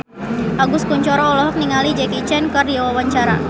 Agus Kuncoro olohok ningali Jackie Chan keur diwawancara